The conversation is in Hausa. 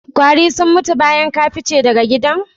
Ƙwari sun mutu bayan ka fice daga gidan?